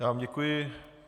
Já vám děkuji.